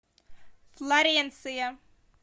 флоренция